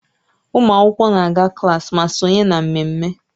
Ụmụ akwụkwọ na-aga klaasị ma sonye na mmemme